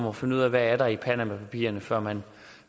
at finde ud af hvad der er i panamapapirerne før man